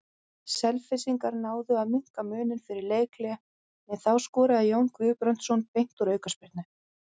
Selfyssingar náðu að minnka muninn fyrir leikhlé en þá skoraði Jón Guðbrandsson beint úr aukaspyrnu.